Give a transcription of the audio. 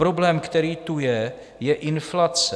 Problém, který tu je, je inflace.